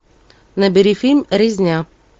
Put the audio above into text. набери фильм резня